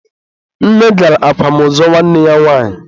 Nne gara akwamozu nwanne ya nwanyi.